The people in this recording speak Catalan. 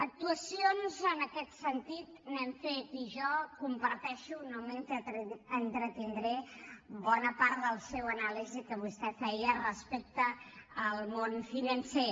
actuacions en aquest sentit n’hem fet i jo comparteixo no m’hi entretindré bona part de la seva anàlisi que vostè feia respecte al món financer